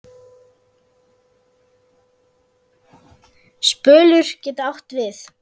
Spölur getur átt við